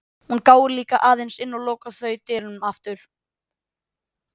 Hún gáir líka aðeins inn og svo loka þau dyrunum aftur.